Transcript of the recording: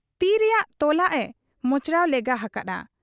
ᱛᱤ ᱨᱮᱭᱟᱜ ᱛᱚᱞᱟᱜ ᱮ ᱢᱚᱪᱲᱟᱣ ᱞᱮᱜᱟ ᱟᱠᱟ ᱦᱟᱫ ᱟ ᱾